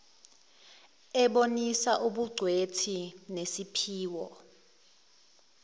ebonisa ubugcwethi nesiphiwo